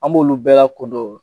An b'olu bɛɛ lakodɔ